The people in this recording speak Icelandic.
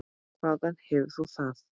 Hvaðan hefur þú það?